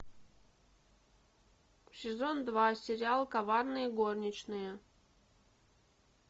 сезон два сериал коварные горничные